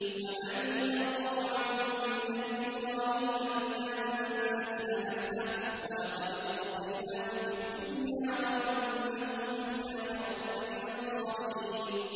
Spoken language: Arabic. وَمَن يَرْغَبُ عَن مِّلَّةِ إِبْرَاهِيمَ إِلَّا مَن سَفِهَ نَفْسَهُ ۚ وَلَقَدِ اصْطَفَيْنَاهُ فِي الدُّنْيَا ۖ وَإِنَّهُ فِي الْآخِرَةِ لَمِنَ الصَّالِحِينَ